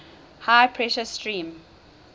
high pressure steam